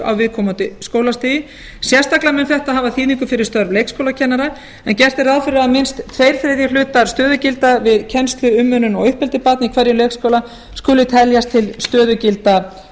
á viðkomandi skólastigi sérstaklega mun þetta hafa þýðingu fyrir störf leikskólakennara en gert er ráð fyrir að minnst tveir þriðju hlutar stöðugilda við kennslu umönnun og uppeldi barna í hverjum leikskóla skuli teljast til stöðugilda